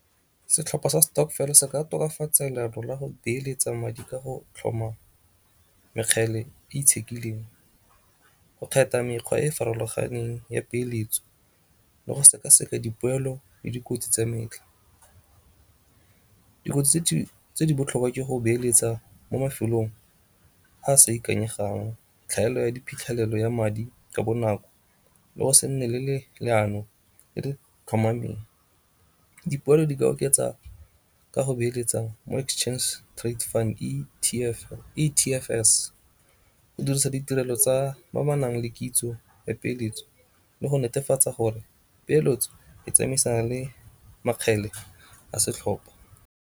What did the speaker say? Setlhopha sa stokvel se ka tokafatsa leano la go beeletsa madi ka go tlhoma mekgele e itshekileng go kgetha mekgwa e e farologaneng ya peeletso le go seka-seka dipoelo le dikotsi tsa metlha. Dikotsi tse di botlhokwa ke go beeletsa mo mafelong a a sa ikanyegang, tlhaelo ya diphitlhelelo ya madi ka bonako, le go se nne le leano le le tlhomameng. Dipoelo di ka oketsa ka go beeletsa mo Exchange Trade Fund E_T_F_S go dirisa ditirelo tsa ba ba nang le kitso ya peeletso le go netefatsa gore peeletso e tsamaisana le makgele a setlhopha.